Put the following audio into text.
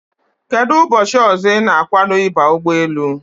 Kedụ ụbọchị ọzọ ị na-agwado ịba ụgbọelu?